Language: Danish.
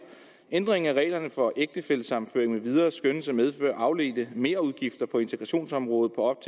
ændringen af reglerne for ægtefællesammenføring med videre skønnes at medføre afledte merudgifter på integrationsområdet på